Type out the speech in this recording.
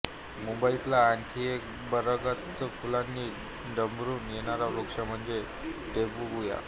मुंबईतला आणखी एक भरगच्च फुलांनी ड़ंबरून येणारा वृक्ष म्हणजे टबेबुया